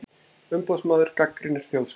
Umboðsmaður gagnrýnir Þjóðskrá